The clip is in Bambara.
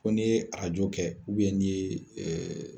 Fo n'i ye arajo kɛ nin ye